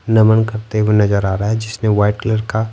नमन करते हुए नजर आ रहा है जिसने वाइट कलर का--